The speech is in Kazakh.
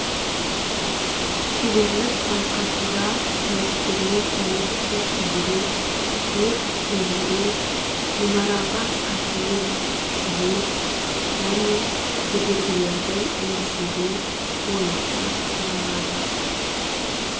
шеберлік байқасуда сайыскерлер метрге жүгіру өрт сөндіру мұнараға сатымен шығу және кедергілерді еңсеру бойынша сыналады